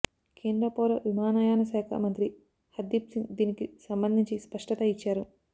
కేంద్ర పౌర విమానయాన శాఖ మంత్రి హర్దీప్ సింగ్ దీనికి సంబంధించి స్పష్టత ఇచ్చారు